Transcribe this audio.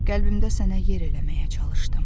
Qəlbimdə sənə yer eləməyə çalışdım.